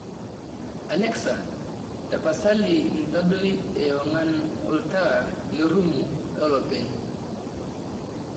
alexa tapasali ntadoi ewang'an oltaa lerumu olopeny